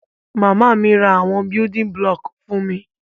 Màmá mi ra àwon building block fun mi